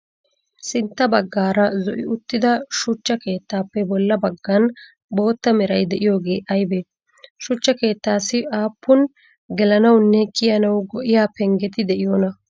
Sintta bagaara zo'i uttida suchcha keettappe bolla baggan boottaa meray de'iyooge aybbe? Shuchcha keettassi aapun gelannawunne kiyanawu go'iyaa penggetti de'iyoona?